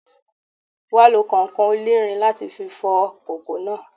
You will have to use iron sponge to wash the pot